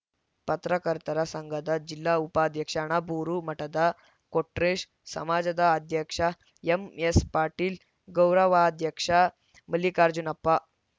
ಪತ್ರಕರ್ತರ ಸಂಘದ ಜಿಲ್ಲಾ ಉಪಾಧ್ಯಕ್ಷ ಅಣಬೂರು ಮಠದ ಕೊಟ್ರೇಶ್‌ ಸಮಾಜದ ಅಧ್ಯಕ್ಷ ಎಂಎಸ್‌ಪಾಟೀಲ್‌ ಗೌರವಾಧ್ಯಕ್ಷ ಮಲ್ಲಿಕಾರ್ಜುನಪ್ಪ